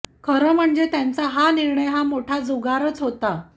खरे म्हणजे त्यांचा हा निर्णय हा मोठा जुगारच होता